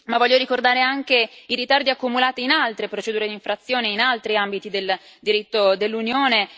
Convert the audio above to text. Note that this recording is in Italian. Voglio ricordare anche i ritardi accumulati in altre procedure di infrazione, in altri ambiti del diritto dell'Unione.